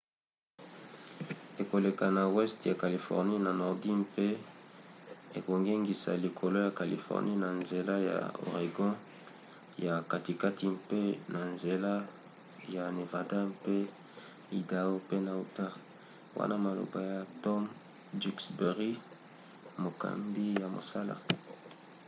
ekoleka na weste ya californie ya nordi mpe ekongengisa likolo ya californie na nzela ya oregon ya katikati mpe na nzela ya nevada mpe idao pe na utah,” wana maloba ya tom duxbury mokambi ya mosala